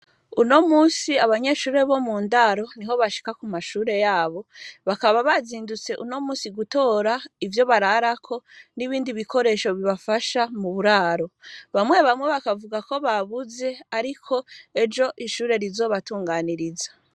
Uno munsi, abanyeshure bo mu ndaro, niho bashika kumashure yabo, bakaba bazindutse uno munsi gutora ivyo bararako n'ibindi bikoresho bibafasha muburaro, bamwe bamwe bakavuga ko bakuze ariko, ejo ishure rizobatunganiriza.